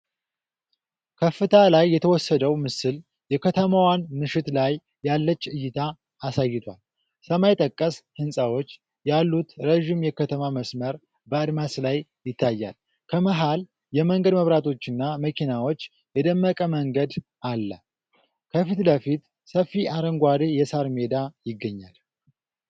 ከፍታ ላይ የተወሰደው ምስል የከተማዋን ምሽት ላይ ያለች እይታ አሳይቷል። ሰማይ ጠቀስ ህንጻዎች ያሉት ረዥም የከተማ መስመር በአድማስ ላይ ይታያል። ከመሃል የመንገድ መብራቶችና መኪናዎች የደመቀ መንገድ አለ፤ ከፊት ለፊት ሰፊ አረንጓዴ የሳር ሜዳ ይገኛል።